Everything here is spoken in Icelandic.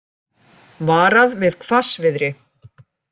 Varað við hvassviðri